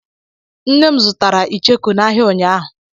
Nne m zụtara ichekụ n'ahia unyaahụ.